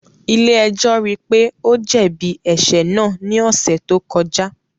Ile-ẹjọ rii pe o jẹbi ẹṣẹ naa ni ọsẹ to kọja